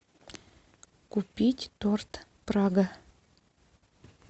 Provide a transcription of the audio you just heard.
купить торт прага